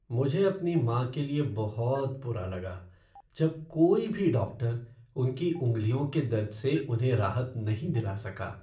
मुझे अपनी माँ के लिए बहुत बुरा लगा जब कोई भी डॉक्टर उनकी उंगलियों के दर्द से उन्हें राहत नहीं दिला सका।